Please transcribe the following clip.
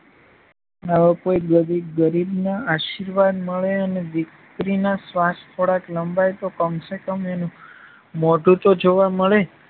આવા કોઈ ગરીબના આશીર્વાદ મળે અને દીકરીના શ્વાશ થોડા લંબાઈ તો કમસેકમ એનું મોઢું તો જોવા મળે.